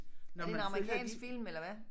Er det en amerikansk film eller hvad